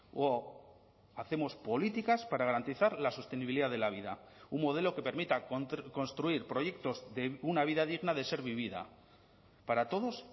o hacemos políticas para garantizar la sostenibilidad de la vida un modelo que permita construir proyectos de una vida digna de ser vivida para todos